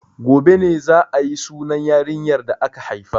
Gobe ne za a yi sunan yarinyar da aka haifa.